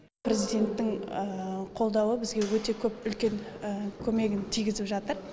президенттің қолдауы бізге өте көп үлкен көмегін тигізіп жатыр